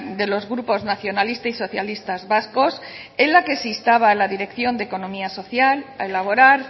de los grupos nacionalistas y socialistas vascos en la que se instaba a la dirección de economía social a elaborar